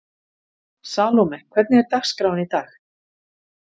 Salome, hvernig er dagskráin í dag?